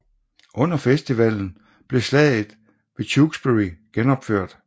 Under festivalen bliver slaget ved Tewkesbury genopført